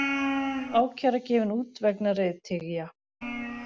Ákæra gefin út vegna reiðtygja